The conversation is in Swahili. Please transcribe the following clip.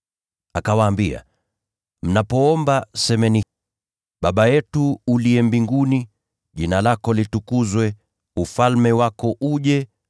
Akawaambia, “Mnapoomba, semeni: “ ‘Baba yetu (uliye mbinguni), jina lako litukuzwe, ufalme wako uje. (Mapenzi yako yafanyike hapa duniani kama huko mbinguni.)